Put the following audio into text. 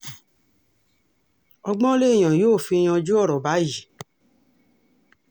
ọgbọ́n lèèyàn yóò fi yanjú ọ̀rọ̀ báyìí